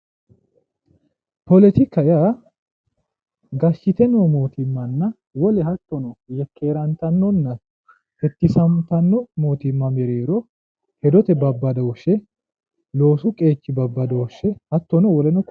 Poletika yaa gashshite noo mootimmanna wole hattono yekkeerantannona hekkisantanno mootimma mereero hedote babbadooshshe loosu qeechi babbadooshshe hattono woleno kuri lawannoreeti.